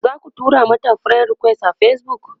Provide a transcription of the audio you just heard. zaku tura mata friend request a Facebook?